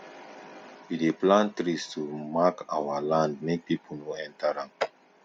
we dey plant trees to mark our land make people no enter am